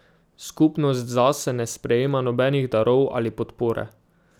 Skupnost zase ne sprejema nobenih darov ali podpore.